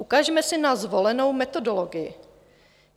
Ukažme si na zvolenou metodologii.